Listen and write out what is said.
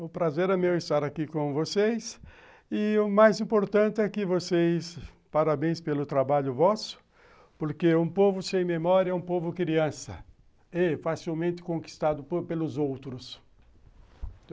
O prazer é meu estar aqui com vocês e o mais importante é que vocês, parabéns pelo trabalho vosso, porque um povo sem memória é um povo criança e facilmente conquistado pelos outros.